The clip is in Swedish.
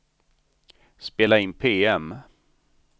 spela in PM